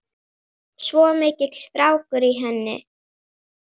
Svo mikill strákur í henni.